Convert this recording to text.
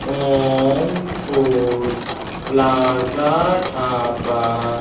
Om food plaza dhaba--